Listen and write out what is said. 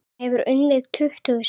Hann hefur unnið tuttugu sinnum.